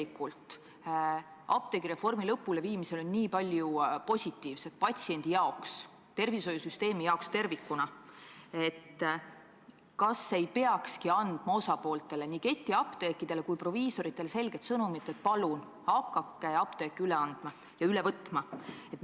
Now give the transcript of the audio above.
Kui apteegireformi lõpuleviimises on tegelikult patsiendi jaoks, tervishoiusüsteemi jaoks tervikuna nii palju positiivset, siis kas ei peaks andma osapooltele – nii ketiapteekidele kui ka proviisoritele – selget sõnumit, et palun hakake apteeke üle andma ja üle võtma?